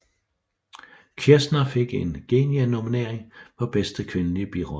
Kirshner fik en Genie nominering for bedste kvindelig birolle